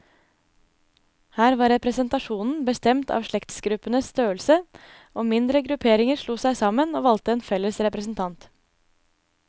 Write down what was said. Her var representasjonen bestemt av slektsgruppenes størrelse, og mindre grupperinger slo seg sammen, og valgte en felles representant.